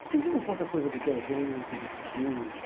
Por que você não conta coisa do presente, do futuro?